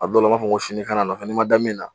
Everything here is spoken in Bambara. A dɔw la n b'a fɔ ko sini i kan'a nɔfɛ, n'i ma da min na